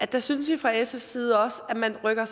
der synes vi fra sfs side også at man rykker